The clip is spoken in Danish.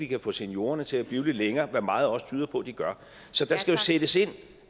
kan få seniorerne til at blive lidt længere hvad meget også tyder på de gør så der skal jo sættes ind